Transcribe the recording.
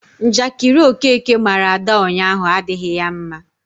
Njakịrị Okeke mara Ada ụnyaahụ adịghị ya mma.